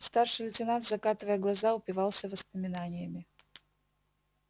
старший лейтенант закатывая глаза упивался воспоминаниями